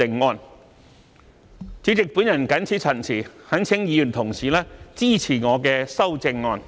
代理主席，我謹此陳辭，懇請各位議員支持我的修正案。